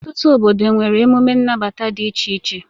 Ọtụtụ obodo nwere emume nnabata dị iche iche.